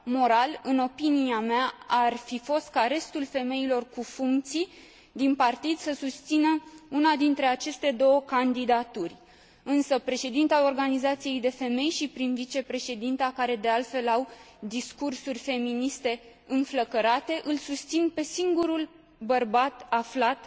Moral, în opinia mea, ar fi fost ca restul femeilor cu funcții din partid să susțină una dintre aceste două candidaturi, însă, președinta organizației de femei și prim vicepreședinta, care, de altfel, au discursuri feministe înflăcărate, îl susțin pe singurul bărbat aflat